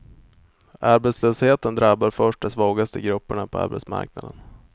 Arbetslösheten drabbar först de svagaste grupperna på arbetsmarknaden.